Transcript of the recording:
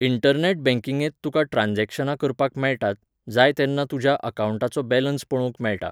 internet बँकिंगेंत तुका ट्रांजॅक्शनां करपाक मेळटात, जाय तेन्ना तुज्या अकावण्टाचो बॅलन्स पळोवंक मेळटा